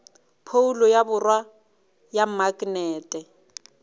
phoulo ya borwa ya maknete